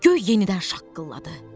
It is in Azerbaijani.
Göy yenidən şaqqıldadı.